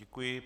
Děkuji.